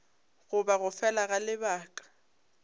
goba go fela ga lebaka